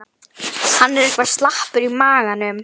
Hann er eitthvað slappur í maganum.